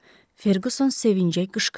Ferquson sevincə qışqırdı.